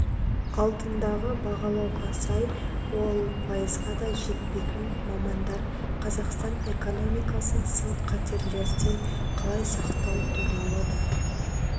алдындағы бағалауға сай ол пайызға да жетпейтін мамандар қазақстан экономикасын сын-қатерлерден қалай сақтау туралы да